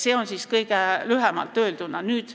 See oli kõige lühemalt öeldud.